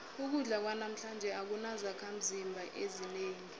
ukudla kwanamhlanje akunazakhimzimba ezinengi